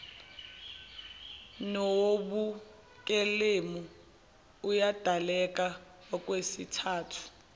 nowobukelemu uyadaleka okwesithathu